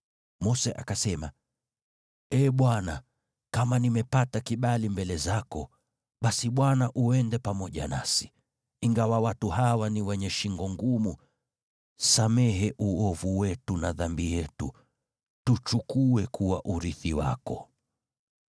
Mose akasema, “Ee Bwana , kama nimepata kibali mbele zako, basi Bwana uende pamoja nasi. Ingawa watu hawa ni wenye shingo ngumu, samehe uovu wetu na dhambi yetu, tuchukue kuwa urithi wako.”